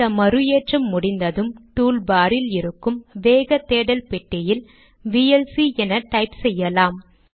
இந்த மறு ஏற்றம் முடிந்ததும் டூல்பார் இல் இருக்கும் வேக தேடல் பெட்டியில் விஎல்சி என டைப் செய்யலாம்